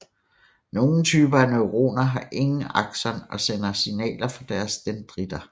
Nogle typer af neuroner har ingen akson og sender signaler fra deres dendritter